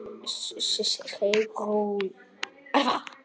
Sigrún Elfa.